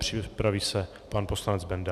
Připraví se pan poslanec Benda.